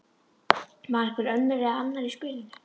Var einhver önnur eða annar í spilinu?